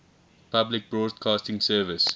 public broadcasting service